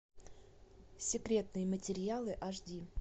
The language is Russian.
секретные материалы аш ди